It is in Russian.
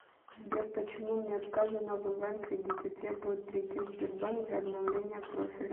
сбер почему мне отказано в онлайн кредите требуют прийти в сбербанк для обновления профиля